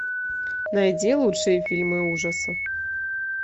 найди лучшие фильмы ужасов